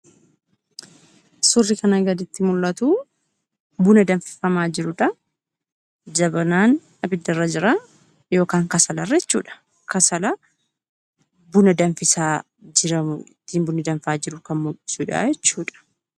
Suurri kana gaditti mul'atu buna danfifamaa jirudha. Jabanaan abiddarra jira yookaan kasalarra jechuudha. Buna danfifamaa jiru kan mul'isudha jechuudha.